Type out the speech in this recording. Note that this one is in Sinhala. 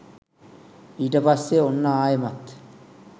ඊට පස්සේ ඔන්න ආයෙමත්